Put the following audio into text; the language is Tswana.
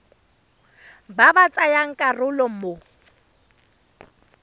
ba ba tsayang karolo mo